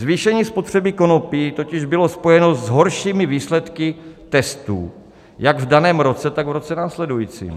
Zvýšení spotřeby konopí totiž bylo spojeno s horšími výsledky testů jak v daném roce, tak v roce následujícím.